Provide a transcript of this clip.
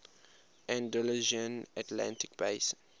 andalusian atlantic basin